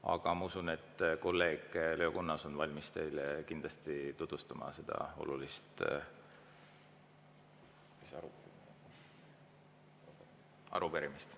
Aga ma usun, et kolleeg Leo Kunnas on valmis teile kindlasti tutvustama seda olulist …… arupärimist.